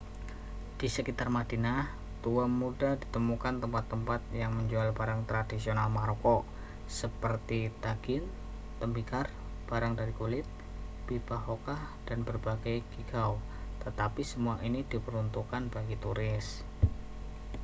di sekitar madinah tua mudah ditemukan tempat-tempat yang menjual barang tradisional maroko seperti tagine tembikar barang dari kulit pipa hookah dan berbagai geegaw tetapi semua ini diperuntukkan bagi turis